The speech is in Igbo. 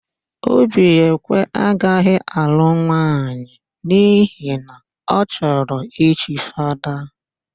Obiekwe agaghị alụ nwaanyị n'ihi na ọ chọrọ ichi Fada.